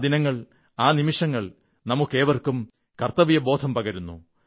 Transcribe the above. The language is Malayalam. ആ ദിനങ്ങൾ ആ നിമിഷങ്ങൾ നമുക്കേവർക്കും കർത്തവ്യബോധം പകരുന്നു